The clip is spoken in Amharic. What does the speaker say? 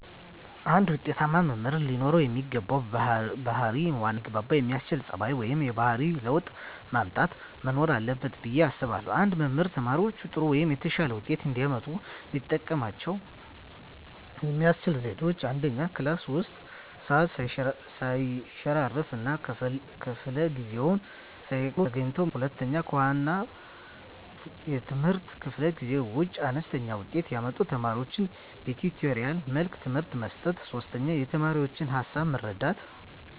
አንድ ውጤታማ መምህር ለኖረው የሚገባው ባህር ዋናው ከተማሪዎቹጋ ሊያግባባ የሚያስችል ፀባዩ ወይም የባህሪ ለውጥ ማምጣት መኖር አለበት ብየ አስባለሁ። አንድ መምህር ተማሪዎቻቸው ጥሩ ወይም የተሻለ ውጤት እንዲያመጡ ሊጠቀሙባቸው የሚችሏቸው ዘዴዎች፦ 1, ክላስ ውስጥ ሰዓት ሰይሸራርፍ እና ከፈለ ጊዜአቸውን ሳይቀጡ ተገኝተው ማስተማር። 2, ከዋና የትምህርት ክፍለ ጊዜ ውጭ አነስተኛ ውጤት ያመጡ ተማሪዎቻቸውን በቲቶሪያል መልኩ ትምህርት መስጠት። 3, የተማሪዎቻቸውን ሀሳብ መረዳት